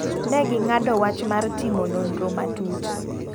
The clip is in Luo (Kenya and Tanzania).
Ne gi ng'ado wach mar timo nonro matut.